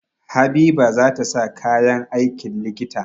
Habiba za ta sa kayan aikin likita.